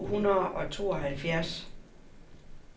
syv hundrede og tooghalvfjerds